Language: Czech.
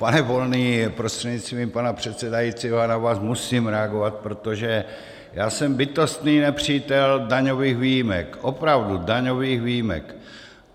Pane Volný prostřednictvím pana předsedajícího, já na vás musím reagovat, protože já jsem bytostný nepřítel daňových výjimek, opravdu, daňových výjimek.